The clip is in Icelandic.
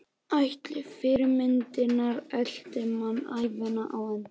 Ætli fyrirmyndirnar elti mann ævina á enda?